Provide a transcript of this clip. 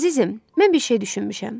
Əzizim, mən bir şey düşünmüşəm.